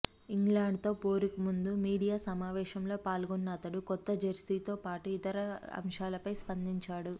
ఇంగ్లాండ్తో పోరుకు ముందు మీడియా సమావేశంలో పాల్గొన్న అతడు కొత్త జెర్సీతో పాటు ఇతర అంశాలపై స్పందించాడు